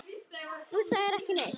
Þú sagðir ekki neitt.